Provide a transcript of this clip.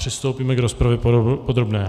Přistoupíme k rozpravě podrobné.